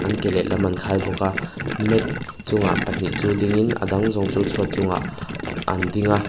an ke lehlam an khai bawka mat chungah pahnih chu dingin a dang zawng chhuat chungah an ding a.